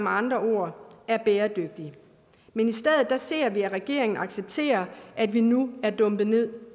andre ord er bæredygtig men i stedet ser vi at regeringen accepterer at vi nu er dumpet ned